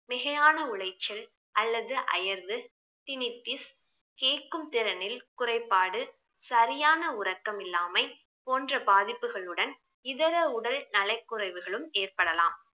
மிகையான உளைச்சல் அல்லது அயர்வு கேட்கும் திறனில் குறைபாடு, சரியான உறக்கம் இல்லாமை போன்ற பாதிப்புகளுடன் இதர உடல் நலக்குறைவுகளும் ஏற்படலாம்